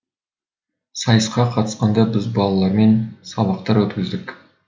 сайысқа қатысқанда біз балалармен сабақтар өткіздік